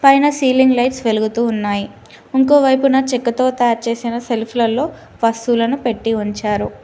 పైన ceiling lights వెలుగుతూ ఉన్నాయ్ ఇంకోవైపున చెక్కతో తయారు చేసిన సెల్ఫ్ లలో వస్తువులను పెట్టి ఉంచారు.